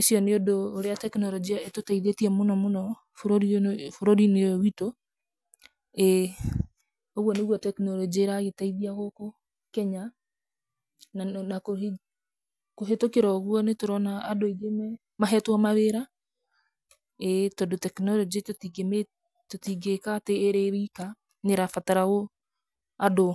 Icio nĩ ũndũ ũrĩa tekinoronjia ĩtũteithĩtie mũno mũno bũrũri-inĩ ũyũ witũ. ĩĩ, ũguo nĩguo technology ĩragĩteithia gũkũ Kenya. Na kũhĩtũkĩra ũguo nĩ tũrona andũ aingĩ mahetwo mawĩra. ĩĩ tondũ technology tũtingĩmĩ tũtingĩĩkatĩ ĩrĩ wika, nĩ ĩrabatara andũ.